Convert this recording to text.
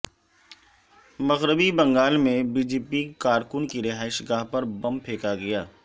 مغربی بنگال میں B J P کارکن کی رہائش گاہ پر بم پھینکا گیا